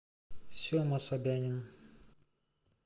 сема собянин